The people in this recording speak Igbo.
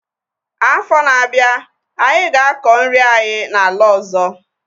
Afọ na-abịa, anyị ga-akọ nri anyị na ala ọzọ